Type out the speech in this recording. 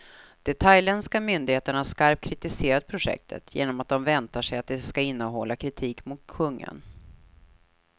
De thailändska myndigheterna har skarpt kritiserat projektet, genom att de väntar sig att det ska innehålla kritik mot kungen.